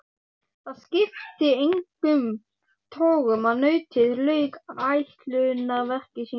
Það skipti engum togum að nautið lauk ætlunarverki sínu.